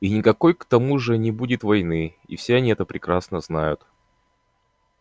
и никакой к тому же не будет войны и все они прекрасно это знают